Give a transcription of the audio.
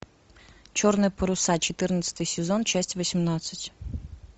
черные паруса четырнадцатый сезон часть восемнадцать